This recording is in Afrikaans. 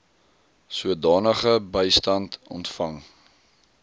sodanige bystand ontvang